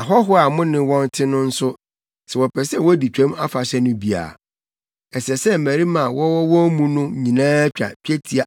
“Ahɔho a mo ne wɔn te no nso, sɛ wɔpɛ sɛ wodi Twam Afahyɛ no bi a, ɛsɛ sɛ mmarima a wɔwɔ wɔn mu no nyinaa twa twetia